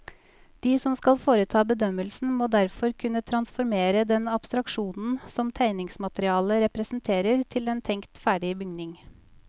De som skal foreta bedømmelsen, må derfor kunne transformere den abstraksjonen som tegningsmaterialet representerer til en tenkt ferdig bygning.